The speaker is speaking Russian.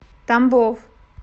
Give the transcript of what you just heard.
тамбов